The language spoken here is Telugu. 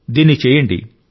దీన్ని చేయండి